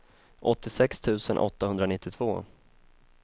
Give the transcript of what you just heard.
åttiosex tusen åttahundranittiotvå